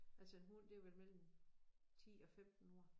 Altså en hund det vel mellem 10 og 15 år